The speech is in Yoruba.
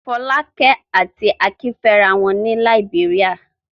Fọ́lákẹ́ àti Akin fẹ́ra wọn ní Làíbéríà.